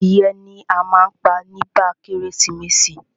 Adìẹ ni a má ń pa nígba kérésìmesì.